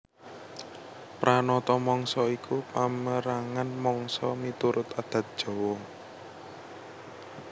Pranata Mangsa iku pamérangan mangsa miturut adat Jawa